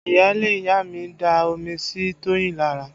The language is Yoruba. Iyaale ìyá mi da omi sí Toyin lára